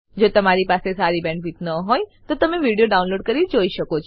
જો તમારી પાસે સારી બેન્ડવિડ્થ ન હોય તો તમે વિડીયો ડાઉનલોડ કરીને જોઈ શકો છો